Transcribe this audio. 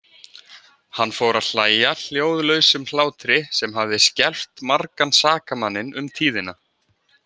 Hann fór að hlæja hljóðlausum hlátri sem hafði skelft margan sakamanninn um tíðina.